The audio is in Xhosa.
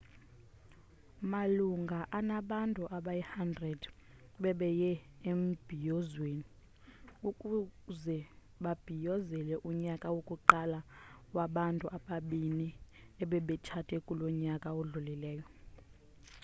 malunga anabantu abayi-100 bebeye embhiyozweni ukuze babhiyozele unyaka wokuqala wabantu ababini ebebetshate kulo nyaka udlulileyo